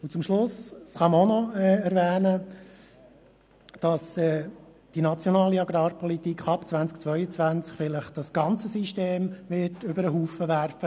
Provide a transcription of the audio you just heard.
Zum Schluss kann man noch erwähnen, dass die nationale Agrarpolitik ab 2022 das gesamte System vielleicht über den Haufen werfen wird.